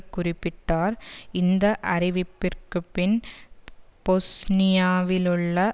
குறிப்பிட்டார் இந்த அறிவிப்பிற்குப்பின் பொஸ்னியாவிலுள்ள